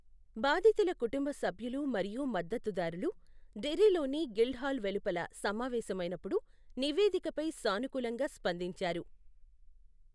బాధితుల కుటుంబ సభ్యులు మరియు మద్దతుదారులు, డెర్రీలోని గిల్డ్హాల్ వెలుపల సమావేశమైనప్పుడు నివేదికపై సానుకూలంగా స్పందించారు.